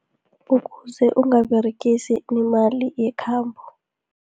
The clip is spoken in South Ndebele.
Ukuze ungaberegisi imali yekhambo.